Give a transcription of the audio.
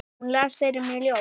Hún las fyrir mig ljóð.